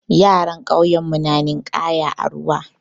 Yaran ƙauyen mu na ninƙaya a ruwa.